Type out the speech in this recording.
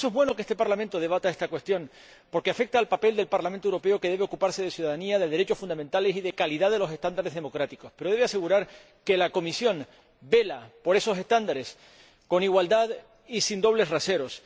Por eso, es bueno que este Parlamento debata esta cuestión porque afecta al papel del Parlamento Europeo, que debe ocuparse de ciudadanía, de derechos fundamentales y de calidad de los estándares democráticos, pero debe asegurar que la Comisión vela por esos estándares con igualdad y sin dobles raseros.